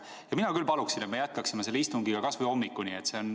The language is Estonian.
Ja mina küll paluksin, et me jätkaksime istungiga kasvõi hommikuni.